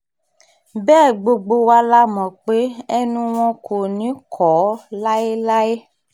bẹ́ẹ̀ gbogbo wa la mọ̀ pé ẹnu wọn kò ní í kọ́ láéláé